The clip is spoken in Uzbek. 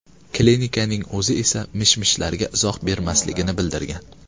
Klinikaning o‘zi esa mish-mishlarga izoh bermasligini bildirgan.